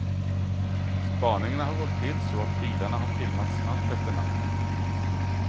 Spaningarna har gått till så, att bilarna har filmats natt efter natt.